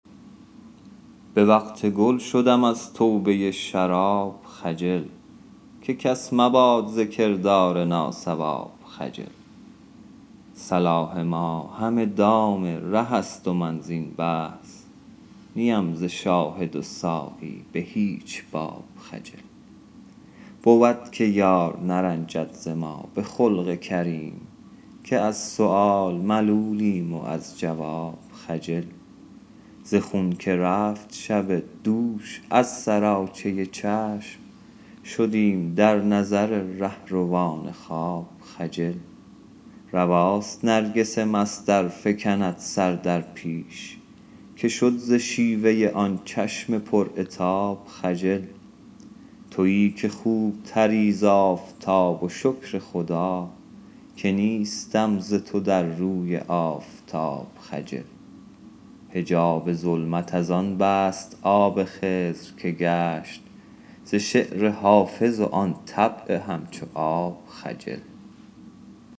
به وقت گل شدم از توبه شراب خجل که کس مباد ز کردار ناصواب خجل صلاح ما همه دام ره است و من زین بحث نی ام ز شاهد و ساقی به هیچ باب خجل بود که یار نرنجد ز ما به خلق کریم که از سؤال ملولیم و از جواب خجل ز خون که رفت شب دوش از سراچه چشم شدیم در نظر رهروان خواب خجل رواست نرگس مست ار فکند سر در پیش که شد ز شیوه آن چشم پر عتاب خجل تویی که خوب تری ز آفتاب و شکر خدا که نیستم ز تو در روی آفتاب خجل حجاب ظلمت از آن بست آب خضر که گشت ز شعر حافظ و آن طبع همچو آب خجل